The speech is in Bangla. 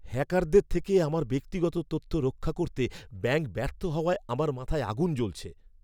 হ্যাকারদের থেকে আমার ব্যক্তিগত তথ্য রক্ষা করতে ব্যাঙ্ক ব্যর্থ হওয়ায় আমার মাথায় আগুন জ্বলছে।